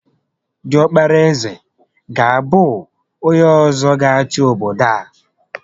Diọkpara ézè ga abụ onyé ọzọ gá achị obodo a